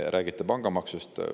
Te räägite pangamaksust.